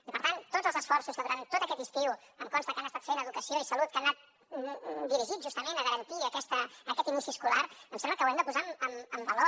i per tant tots els esforços que durant tot aquest estiu em consta que han estat fent educació i salut que han anat dirigits justament a garantir aquest inici escolar em sembla que ho hem de posar en valor